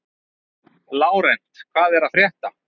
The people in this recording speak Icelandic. Lárent, hvað er að frétta?